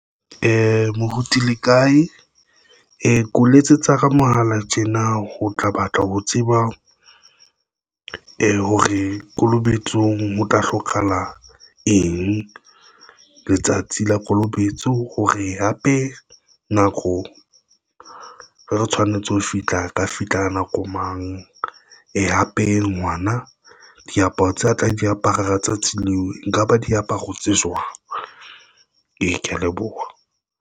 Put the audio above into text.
Moruti le kae keo letsetsa ka mohala tjena. Ho tla batla ho tseba hore kolobetsong ho tla hlokahala eng Letsatsi la Kolobetso Hore hape nako re tshwanetse ho fihla ka fihla ka nako mang ee? Hape, ngwana diaparo tse a tla di apara tsatsing leo, nka ba diaparo tse jwang? Ee. Kea leboha.